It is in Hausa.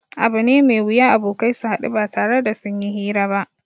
Abu ne mai wuya abokai su haɗu ba tare da sun yi hira ba